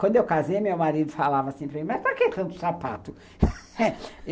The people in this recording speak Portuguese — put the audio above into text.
Quando eu casei, meu marido falava assim para mim, mas para que tanto sapato?